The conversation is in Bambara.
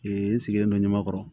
n sigilen don ɲamakɔrɔ